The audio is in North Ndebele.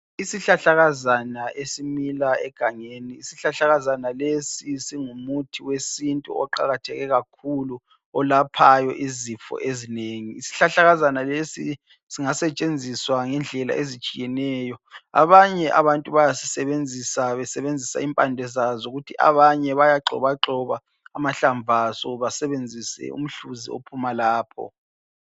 Isihlahlakazana esimila egangeni. Isihlahlakazana lesi singu muthi wesintu oqakatheke kakhulu olaphayo izifo ezinengi. Isihlahlakazana lesi singasetshenziswa ngendlela ezitshiyeneyo. Abanye abantu bayasisebenzisa besebenzisa impande zaso, kuthi abanye bayagxobagxoba amahlamvu aso basebenzisa umhluzi ophuma lapho.